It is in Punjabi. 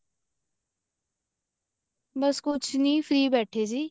ਬੱਸ ਕੁੱਝ ਨੀ free ਬੈਠੇ ਸੀ